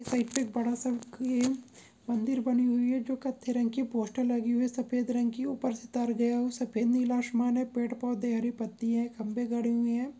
Side पे बड़ा सा मंदिर बनी हुयी है जो कत्थे रंग की पोस्टर लगी हुयी है सफ़ेद रंग की ऊपर से तर गया है सफ़ेद नीला आसमान है पेड़ पौधे है हरी पट्टी है खम्बे गड़े हुए है।